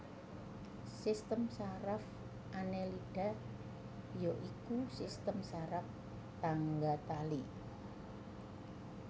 Sistem saraf Annelida ya iku sistem saraf tangga tali